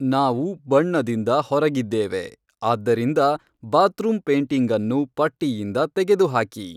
ನಾವು ಬಣ್ಣದಿಂದ ಹೊರಗಿದ್ದೇವೆ ಆದ್ದರಿಂದ ಬಾತ್ರೂಮ್ ಪೇಂಟಿಂಗ್ ಅನ್ನು ಪಟ್ಟಿಯಿಂದ ತೆಗೆದುಹಾಕಿ